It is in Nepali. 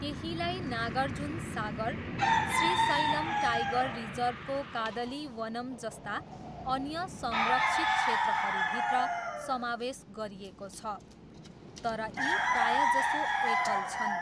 केहीलाई नागार्जुन सागर, श्रीशैलम टाइगर रिजर्भको कादलिवनम जस्ता अन्य संरक्षित क्षेत्रहरूभित्र समावेश गरिएको छ, तर यी प्रायजसो एकल छन्।